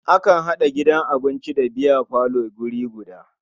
Akan haɗa gidan abinci da biyafalo a wuri guda.